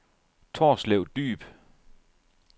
Torslev Dyb